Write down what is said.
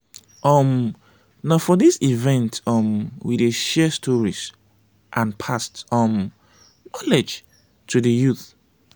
um na for this event um we dey share stories and pass um knowledge to di youth.